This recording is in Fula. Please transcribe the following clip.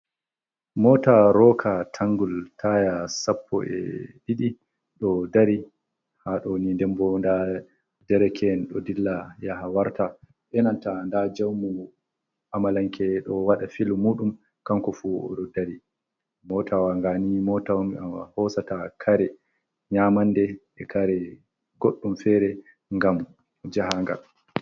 Mota roka tangul taya sappo e' didi, do dari ha doni. Nden bo nda da derke'en do dilla yaha warta e' nanta da jaamu amalanke do wada filu mudum kanko fu odo dari. Mota wa ngani mota on je hosata kare, nyamande, e' kare goddum fere ngam jahangal.